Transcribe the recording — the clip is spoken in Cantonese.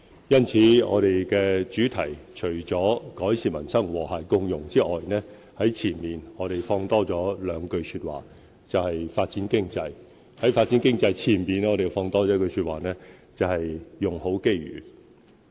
因此，施政報告的主題除了"改善民生和諧共融"之外，在前面亦增加了一句，就是"發展經濟"；在"發展經濟"前面，我們再增加一句，就是"用好機遇"。